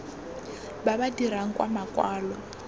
ba ba dirang ka makwalo